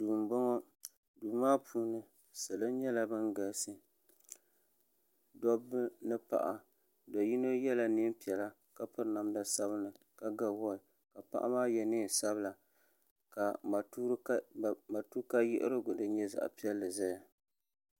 duu m-bɔŋɔ duu maa puuni salo nyɛla ban galisi dobba ni paɣa do yino yela neen' piɛla ka piri namda sabinli ka ga wɔɔch ka paɣa maa ye neen' sabila ka matuuuka yiɣirigu din nyɛ zaɣ' piɛlli ʒeya.